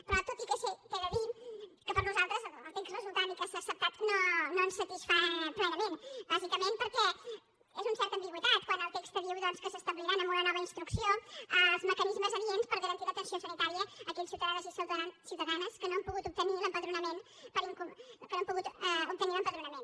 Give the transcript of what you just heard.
però tot i que he de dir que per a nosaltres el text resultant i que s’ha acceptat no ens satisfà plenament bàsicament perquè és una certa ambigüitat quan el text diu que s’establiran amb una nova instrucció els mecanismes adients per garantir l’atenció sanitària a aquells ciutadans i ciutadanes que no han pogut obtenir l’empadronament